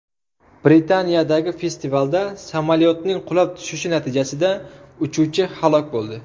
Britaniyadagi festivalda samolyotning qulab tushishi natijasida uchuvchi halok bo‘ldi.